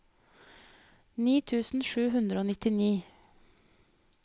ni tusen sju hundre og nittini